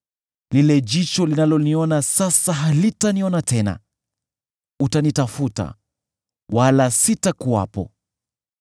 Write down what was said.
Lile jicho linaloniona sasa halitaniona tena; utanitafuta, wala sitakuwepo.